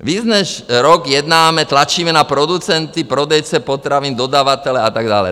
Víc než rok jednáme, tlačíme na producenty, prodejce potravin, dodavatele a tak dále.